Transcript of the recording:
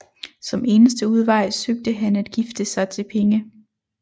Som eneste udvej søgte han at gifte sig til penge